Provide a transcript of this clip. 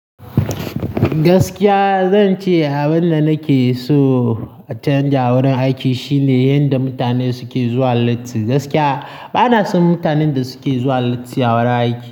Gaskiya zan ce abin da nake so a canja wurin aiki shine yanda mutane suke zuwa latti. Gaskiya bana son mutanen da suke zuwa latti a wurin aiki.